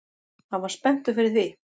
Hann var spenntur fyrir því